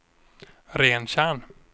Rentjärn